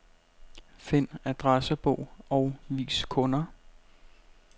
Find adressebog og vis kunder.